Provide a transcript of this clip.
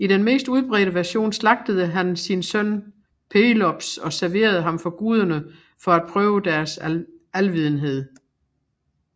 I den mest udbredte version slagtede han sin søn Pelops og serverede ham for guderne for at prøve deres alvidenhed